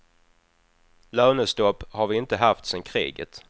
Lönestopp har vi inte haft sen kriget.